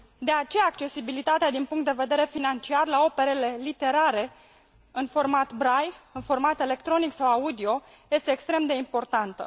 De aceea, accesibilitatea, din punct de vedere financiar, la operele literare în format Braille, în format electronic sau audio este extrem de importantă.